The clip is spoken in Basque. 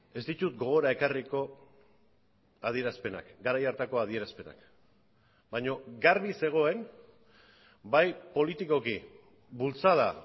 ez ditut gogora ekarriko adierazpenak garai hartako adierazpenak baina garbi zegoen bai politikoki bultzada